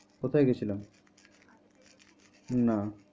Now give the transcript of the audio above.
কোথায় গেছিলাম? না।